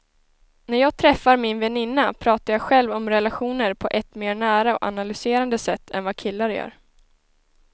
När jag träffar min väninna pratar jag själv om relationer på ett mer nära och analyserande sätt än vad killar gör.